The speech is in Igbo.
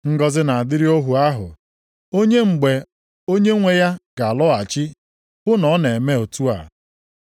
Ngọzị na-adịrị ohu ahụ, onye, mgbe onyenwe ya ga-alọghachi hụ na ọ na-eme otu a.